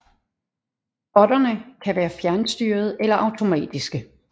Botterne kan være fjernstyrede eller automatiske